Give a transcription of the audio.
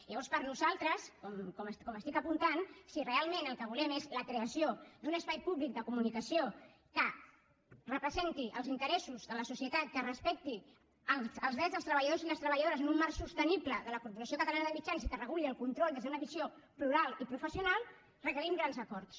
llavors per nosaltres com estic apuntant si realment el que volem és la creació d’un espai públic de comunicació que representi els interessos de la societat que respecti els drets dels treballadors i les treballadores en un marc sostenible de la corporació catalana de mitjans i que reguli el control des d’una visió plural i professional requerim grans acords